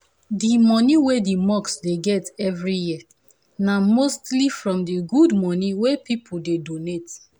the money wey the mosque dey get every year na mostly from the good money wey people dey donate.